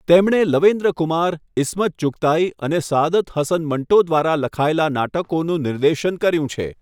તેમણે લવેન્દ્ર કુમાર, ઈસ્મત ચુગતાઈ અને સઆદત હસન મંટો દ્વારા લખાયેલા નાટકોનું નિર્દેશન કર્યું છે.